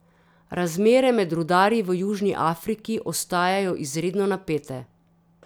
Razmere med rudarji v Južni Afriki ostajajo izredno napete.